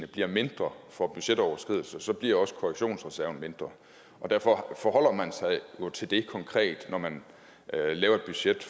bliver mindre for budgetoverskridelser bliver også korrektionsreserven mindre og derfor forholder man sig jo til det konkret når man laver et budget